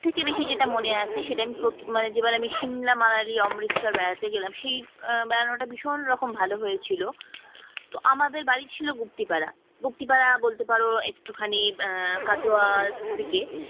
সব থেকে বেশি যেটা মনে আছে সেটা আমি প্রথম যেবার সিমলা মানালি অমৃতসর বেড়াতে গেলাম সেই ধারণাটা বেড়ানোটা ভীষণ রকম ভালো হয়েছিল তো আমাদের বাড়ি ছিল গুপ্তিপাড়া, গুপ্তিপাড়া বলতে পারো একটুখানি আহ কাটোয়ার দিকে